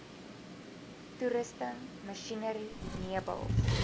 toerusting masjinerie meubels